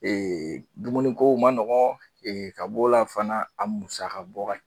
Ee dumunikow ma nɔgɔn ee ka b'o la fana a musaka bɔ ka